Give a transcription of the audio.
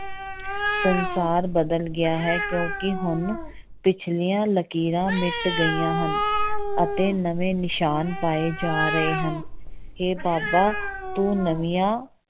ਸੰਸਾਰ ਬਦਲ ਗਿਆ ਹੈ ਕਿਉਂਕਿ ਹੁਣ ਪਿੱਛਲੀਆਂ ਲਕੀਰਾਂ ਮਿੱਟ ਗਈਆਂ ਹਨ ਅਤੇ ਨਵੇਂ ਨਿਸ਼ਾਨ ਪਾਏ ਜਾ ਰਹੇ ਹਨ, ਹੇ ਬਾਬਾ ਤੂੰ ਨਵੀਂਆਂ